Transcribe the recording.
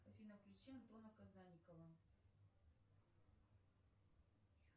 афина включи антона казанникова